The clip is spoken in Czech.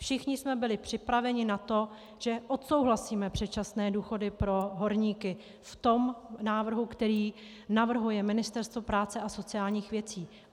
Všichni jsme byli připraveni na to, že odsouhlasíme předčasné důchody pro horníky v tom návrhu, který navrhuje Ministerstvo práce a sociálních věcí.